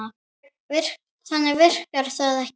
Þannig virkar það ekki.